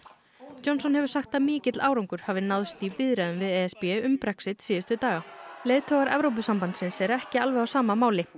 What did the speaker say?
Johnson hefur sagt að mikill árangur hafi náðst í viðræðum við e s b um Brexit síðustu daga leiðtogar Evrópusambandsins eru ekki alveg á sama máli